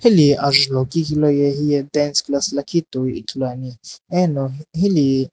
hili ajulhou kiqi loye hiye dance class toi ithuluani eno hili.